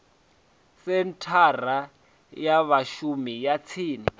senthara ya vhashumi ya tsini